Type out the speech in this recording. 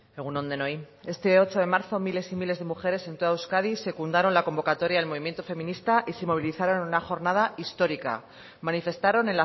egun on denoi este ocho de marzo miles y miles de mujeres en toda euskadi secundaron la convocatoria del movimiento feminista y se movilizaron en una jornada histórica manifestaron